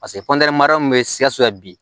min bɛ sikaso yan bi